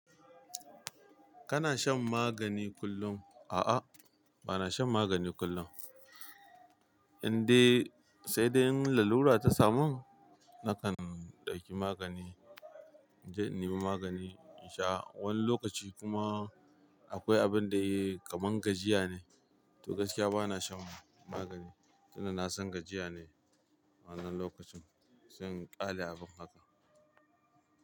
Kana shan magani kullum? A'a, bana shan magani kullum. Indai, sai dai in lalura ta samun, nakan ɗauki magani. Inje in nemi magani in sha. Wani lokaci kuma akwai abin da yayi kaman gajiya ne. To gaskiya bana shan magani. Sun da na son gajiya ne wannan lokacin. Zan ƙale abin haka.